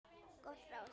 Gott ráð.